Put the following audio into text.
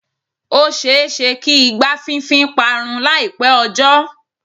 Ó ṣe-é-ṣe kí igbá fínfín parun láìpẹ́ ọjọ́.